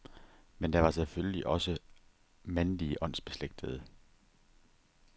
Men der var selvfølgelig også mandlige åndsbeslægtede.